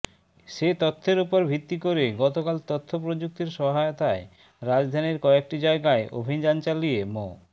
সে তথ্যের ওপর ভিত্তি করে গতকাল তথ্যপ্রযুক্তির সহায়তায় রাজধানীর কয়েকটি জায়গায় অভিযান চালিয়ে মো